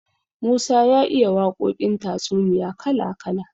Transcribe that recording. Musa ya iya waƙoƙin tatsuniya kala kala.